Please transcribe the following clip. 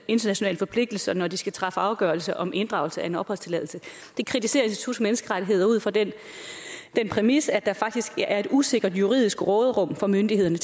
internationale forpligtelser når de skal træffe afgørelse om inddragelse af en opholdstilladelse det kritiserer institut for menneskerettigheder ud fra den præmis at der faktisk er et usikkert juridisk råderum for myndighederne